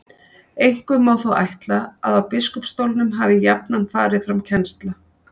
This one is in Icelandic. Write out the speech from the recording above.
einkum má þó ætla að á biskupsstólunum hafi jafnan farið fram kennsla